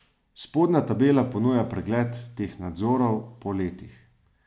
Spodnja tabela ponuja pregled teh nadzorov po letih.